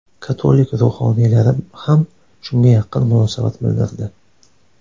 Katolik ruhoniylari ham shunga yaqin munosabat bildirdi.